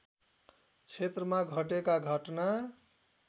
क्षेत्रमा घटेका घटना